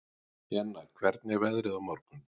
Jenna, hvernig er veðrið á morgun?